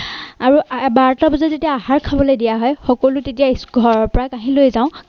আৰু বাৰতা বজাত যেতিয়া আহাৰ খাবলৈ দিয়া হয় সকলো তেতিয়া ঘৰৰ পৰা কাঁহি লৈ যাওঁ।